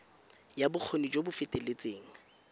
ya bokgoni jo bo feteletseng